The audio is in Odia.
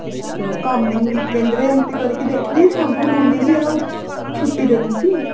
ତ coming weekend ରେ ଏମିତି କରିକି ଦେଖିବି ସବୁ ବୁଲିବି ଆଉ ଛୁଟି ଦେଖିକି